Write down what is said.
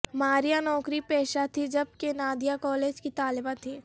ماریا نوکری پیشہ تھیں جبکہ نادیہ کالج کی طالبہ تھیں